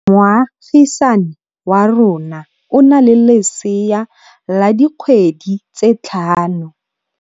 Moagisane wa rona o na le lesea la dikgwedi tse tlhano.